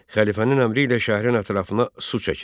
Xəlifənin əmri ilə şəhərin ətrafına su çəkildi.